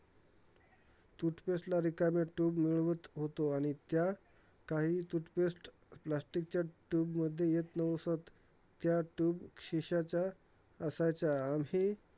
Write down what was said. Toothpaste ला रिकामी tube मिळवत होतो आणि त्या काही toothpaste, plastic च्या tube मध्ये येत नवसत. त्या tube शिस्याच्या असायच्या